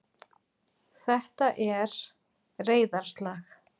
Þetta er. reiðarslag.